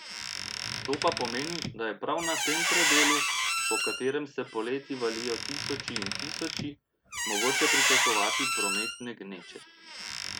To pa pomeni, da je prav na tem predelu, po katerem se poleti valijo tisoči in tisoči, mogoče pričakovati prometne gneče.